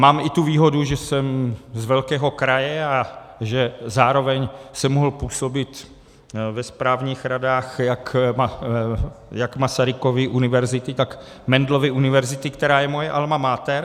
Mám i tu výhodu, že jsem z velkého kraje a že zároveň jsem mohl působit ve správních radách jak Masarykovy univerzity, tak Mendelovy univerzity, která je moje alma mater.